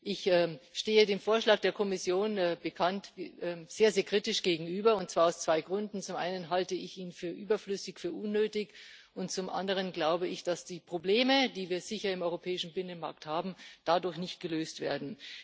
Ich stehe dem Vorschlag der Kommission wie bekannt sehr kritisch gegenüber, und zwar aus zwei Gründen Zum einen halte ich ihn für überflüssig, für unnötig, und zum anderen glaube ich, dass die Probleme, die wir sicher im europäischen Binnenmarkt haben, dadurch nicht gelöst werden.